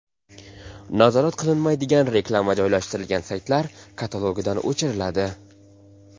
Nazorat qilinmaydigan reklama joylashtirilgan saytlar katalogidan o‘chiriladi.